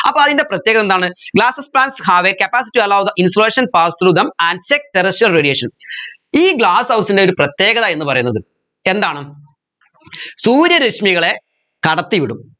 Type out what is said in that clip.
അപ്പോ അയിൻറെ പ്രത്യേകത എന്താണ് glasses patch have a capacity to allow the insulation passed through them and check the residual radiation ഈ glasshouse ൻറെ ഒരു പ്രത്യേകത എന്ന് പറയുന്നത് എന്താണ് സൂര്യരശ്മികളെ കടത്തി വിടും